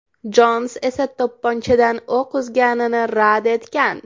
Jons esa to‘pponchadan o‘q uzganini rad etgan.